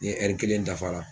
Ni ɛri kelen dafa la